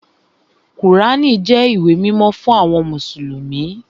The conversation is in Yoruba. Kùránì jẹ́ ìwé mímọ́ fún àwọn mùsùlùmí